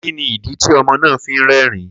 Kini idi ti ọmọ naa fi n rẹrin?